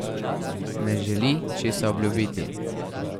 Ne želi česa obljubiti.